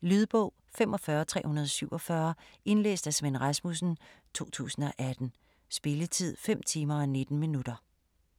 Lydbog 45347 Indlæst af Svend Rasmussen, 2018. Spilletid: 5 timer, 19 minutter.